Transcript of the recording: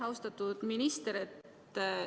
Austatud minister!